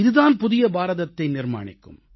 இதுதான் புதிய பாரதத்தை நிர்மாணிக்கும்